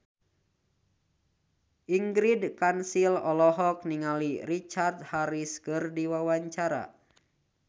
Ingrid Kansil olohok ningali Richard Harris keur diwawancara